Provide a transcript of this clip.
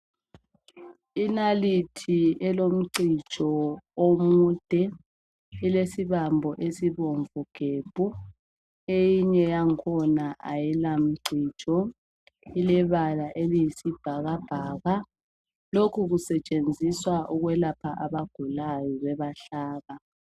inalithi elomcijo omude ilesibambo esibomvu gebhu eyinye yangkhona ayilamcijo ilebala eliyisibhakabhaka lokhu kusetshenziswa ukulapha abagulayo bebahlaba